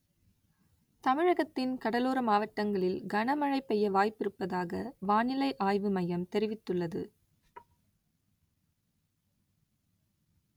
தமிழகத்தின் கடலோர மாவட்டங்களில் கனமழை பெய்ய வாய்ப்பிருப்பதாக வானிலை ஆய்வுமையம் தெரிவித்துள்ளது